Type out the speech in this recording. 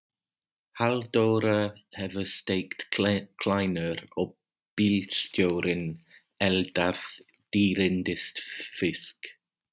Halldóra hefur steikt kleinur og bílstjórinn eldað dýrindis fisk.